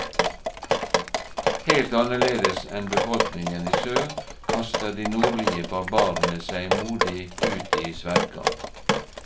Helt annerledes enn befolkningen i sør, kaster de nordlige barbarene seg modig ut i sverdkamp.